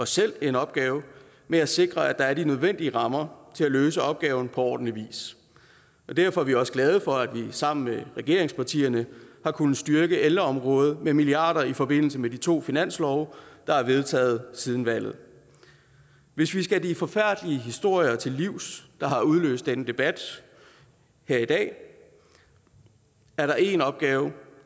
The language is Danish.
selv en opgave med at sikre at der er de nødvendige rammer til at løse opgaven på ordentlig vis derfor er vi også glade for at vi sammen med regeringspartierne har kunnet styrke ældreområdet med milliarder i forbindelse med de to finanslove der er vedtaget siden valget hvis vi skal de forfærdelige historier til livs der har udløst denne debat her i dag er der én opgave